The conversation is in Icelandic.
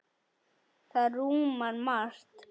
Það rúmar margt.